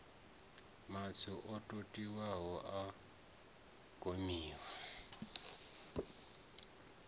matswu o totiwaho a gamiwa